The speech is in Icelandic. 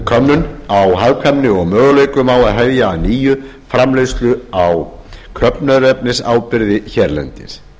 könnun á hagkvæmni og möguleikum á að hefja að nýju framleiðslu á köfnunarefnisáburði hérlendis